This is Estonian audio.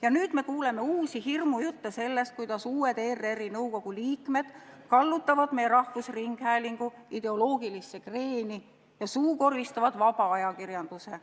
Ja nüüd me kuuleme uusi hirmujutte sellest, kuidas uued ERR-i nõukogu liikmed kallutavad meie rahvusringhäälingu ideoloogilisse kreeni ja suukorvistavad vaba ajakirjanduse.